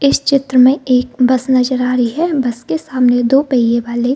इस चित्र में एक बस नजर आ रही हे बस के सामने दो पहिए वाले --